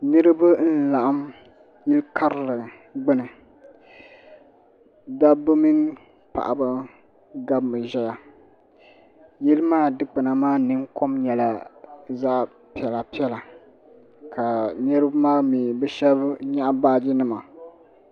Niriba n laɣim yili karili gbini dabba mini paɣaba gabmi ʒɛya yili maa dikpina maa ninkom nyɛla zaɣa piɛla piɛla ka niriba maa mee bɛ sheba nyaɣi baaji nima.